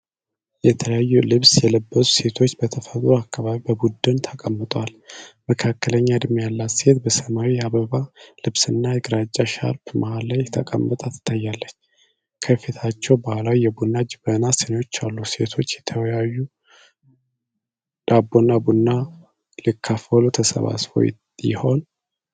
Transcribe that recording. የተለያየ ልብስ የለበሱ ሴቶች በተፈጥሮ አካባቢ በቡድን ተቀምጠዋል። መካከለኛ እድሜ ያላት ሴት በሰማያዊ የአበባ ልብስና ግራጫ ሻርፕ መሃል ላይ ተቀምጣ ትታያለች። ከፊታቸው ባህላዊ የቡና ጀበናና ስኒዎች አሉ። ሴቶቹ እየተወያዩ ዳቦና ቡና ሊካፈሉ ተሰባስበው ይሆን?